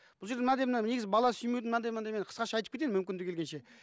бұл жерде мынандай мына негізі бала сүймеудің мынандай қысқаша айтып кетейін мүмкіндігі келгенше